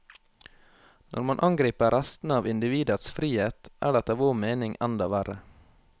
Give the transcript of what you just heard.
Når man angriper restene av individets frihet, er det etter vår mening enda verre.